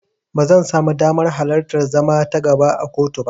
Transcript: Ba zan samu damar alartar zama ta gaba a kotu ba.